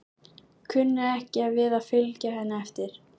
Kunni ekki við að fylgja henni eftir.